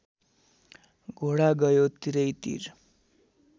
घोडा गयो तिरैतिर